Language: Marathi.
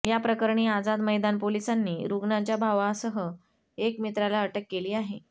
या प्रकरणी आझाद मैदान पोलिसांनी रुग्णाच्या भावासह एका मित्राला अटक केली आहे